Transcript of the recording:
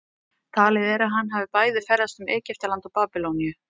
Talið er að hann hafi bæði ferðast um Egyptaland og Babýloníu.